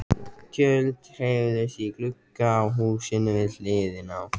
Tjöld hreyfðust í glugga á húsinu við hliðina.